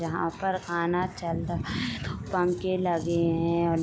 यहां पर खाना चलरा दो पंखे लगे हैं।